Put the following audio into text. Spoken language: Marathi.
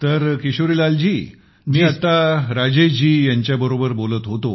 तर किशोरीलाल जी मी आता राजेश जी यांच्याशी बोलत होतो